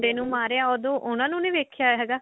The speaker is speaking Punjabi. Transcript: ਮੁੰਡੇ ਨੂੰ ਮਾਰਿਆ ਉਦੋਂ ਉਹਨਾ ਨੂੰ ਵੇਖਿਆ ਹੈਗਾ